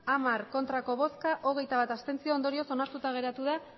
hamar abstentzioak hogeita bat ondorioz onartuta geratu da